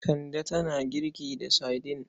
Kande tana girki da saidin.